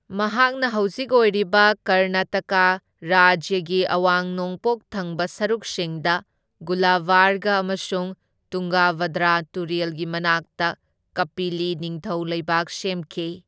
ꯃꯍꯥꯛꯅ ꯍꯧꯖꯤꯛ ꯑꯣꯏꯔꯤꯕ ꯀꯔꯅꯥꯇꯀꯥ ꯔꯥꯖ꯭ꯌꯒꯤ ꯑꯋꯥꯡ ꯅꯣꯡꯄꯣꯛ ꯊꯪꯕ ꯁꯔꯨꯛꯁꯤꯡꯗ ꯒꯨꯂꯕꯥꯔꯒ ꯑꯃꯁꯨꯡ ꯇꯨꯡꯒꯚꯗ꯭ꯔꯥ ꯇꯨꯔꯦꯜꯒꯤ ꯃꯅꯥꯛꯇ ꯀꯝꯄꯤꯂꯤ ꯅꯤꯡꯊꯧ ꯂꯩꯕꯥꯛ ꯁꯦꯝꯈꯤ꯫